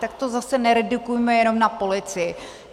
Tak to zase neredukujme jenom na polici.